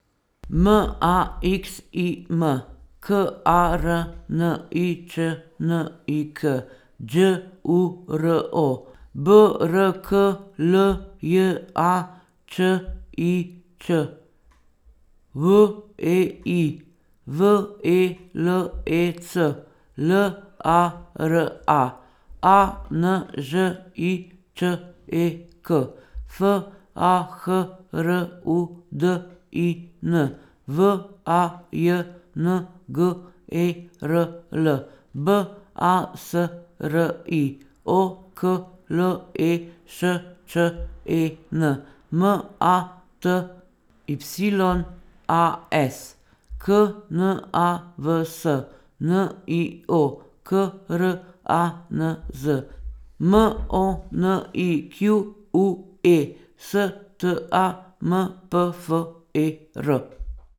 M A X I M, K A R N I Č N I K; Đ U R O, B R K L J A Č I Ć; W E I, V E L E C; L A R A, A N Ž I Č E K; F A H R U D I N, V A J N G E R L; B A S R I, O K L E Š Č E N; M A T Y A S, K N A V S; N I O, K R A N Z; M O N I Q U E, S T A M P F E R.